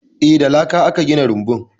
Eh, da laka aka gina rumbun.